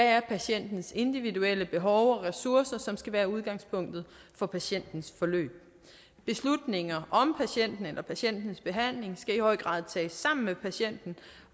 er patientens individuelle behov og ressourcer som skal være udgangspunktet for patientens forløb beslutninger om patienten eller patientens behandling skal i høj grad tages sammen med patienten